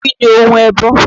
Kí ni ohun ẹbọ?